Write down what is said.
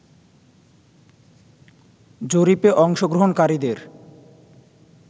জরিপে অংশগ্রহণকারীদের